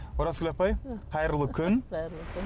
оразгүл апай қайырлы күн қайырлы күн